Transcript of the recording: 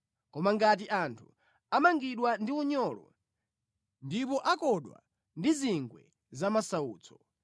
Koma ngati anthu amangidwa ndi unyolo, ndipo akondwa ndi zingwe zamasautso,